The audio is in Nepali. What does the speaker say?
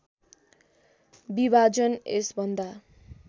विभाजन यस भन्दा